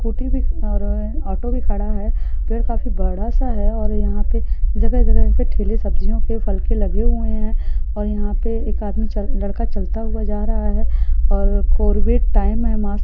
scooty भी खड़ा है ऑटो भी खड़ा है पेड़ काफी बड़ा सा है और यहां पे जगह जगह ठेले सब्जियों के फल के लगे हुए है और यहां पे एक लड़का चलता हुआ जा रहा है टाइम है मास्क --